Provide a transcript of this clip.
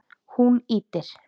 Hún ýtir